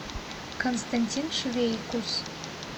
константин швейкус